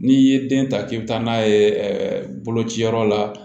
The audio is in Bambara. N'i ye den ta k'i bɛ taa n'a ye bolociyɔrɔ la